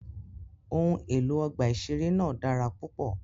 Ohun elo ọgba iṣere naa dara pupọ.